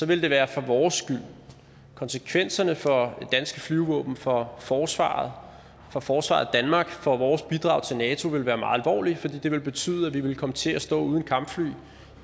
ville det være for vores skyld konsekvenserne for det danske flyvevåben for forsvaret for forsvaret af danmark og for vores bidrag til nato ville være meget alvorlige for det ville betyde at vi ville komme til at stå uden kampfly